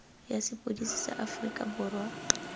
ya sepodisi sa aforika borwa